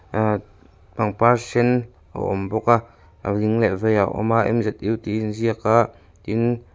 pangpar hring a awm bawk a a ding leh veiah a awm a tih a in ziak a tin.